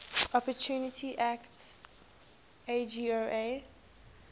opportunity act agoa